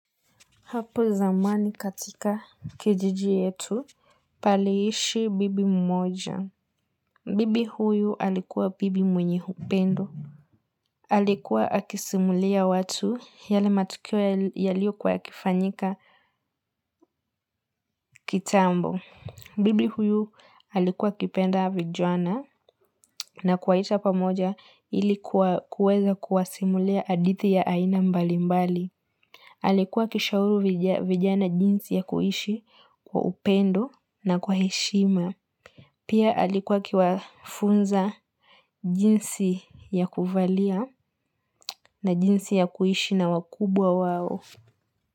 Hapo zamani katika kijiji yetu, paliishi bibi mmoja. Bibi huyu alikuwa bibi mwenye upendo. Alikuwa akisimulia watu yale matukio yaliokua yakifanyika kitambo. Bibi huyu alikuwa akipenda vijana na kuwaita pamoja ili kuweza kuwasimulia hadithi ya aina mbali mbali. Alikuwa akishauri vijana jinsi ya kuishi kwa upendo na kwa heshima. Pia alikuwa akiwafunza jinsi ya kuvalia na jinsi ya kuishi na wakubwa wao.